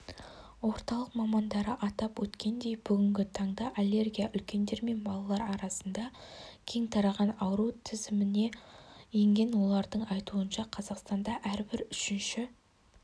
орталық мамандары атап өткендей бүгінгі таңда аллергия үлкендер мен балалар арасныда кең тараған ауру тізіміне енген олардың айтуынша қазақстанда әрбір үшінші